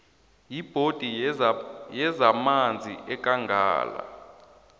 yibhodi yezamanzi yekangala